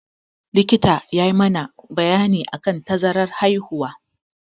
Likita ya yi mana bayani akan tazaran haihuwa.